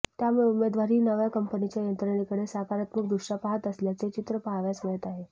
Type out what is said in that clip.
त्यामुळे उमेदवारही नव्या कंपनीच्या यंत्रणेकडे सकारात्मक दृष्ट्या पाहत असल्याचे चित्र पाहावयास मिळत आहे